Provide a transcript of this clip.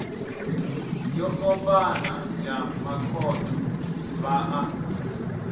yo ombana ya makhotho vhaḽa